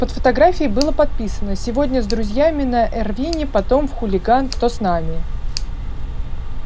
под фотографией было подписано сегодня с друзьями на эрвине потом в хулиган кто с нами